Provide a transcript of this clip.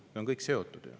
See kõik on ju seotud.